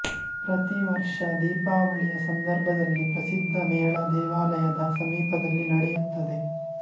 ಪ್ರತಿವರ್ಷ ದೀಪಾವಳಿಯ ಸಂದರ್ಭದಲ್ಲಿ ಪ್ರಸಿದ್ಧ ಮೇಳ ದೇವಾಲಯದ ಸಮೀಪದಲ್ಲಿ ನಡೆಯುತ್ತದೆ